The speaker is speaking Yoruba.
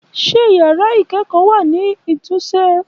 Ṣé yàrá ikẹ́kọ́ wá ni títúnse?